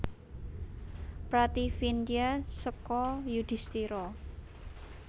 Prativindya seka Yudhistira